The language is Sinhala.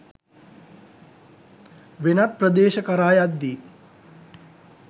වෙනත් ප්‍රදේශ කරා යද්දී